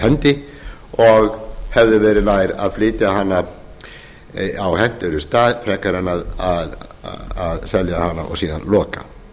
hendi og hefði verið nær að flytja hana á hentugri stað frekar en að selja hana og síðan loka áburðarverksmiðjan